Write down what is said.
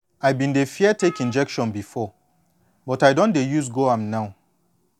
i been dey fear take injection before but i don dey use go am now